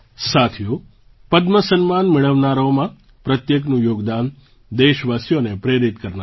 સાથીઓ પદ્મ સન્માન મેળવનારાઓમાં પ્રત્યેકનું યોગદાન દેશવાસીઓને પ્રેરિત કરનારું છે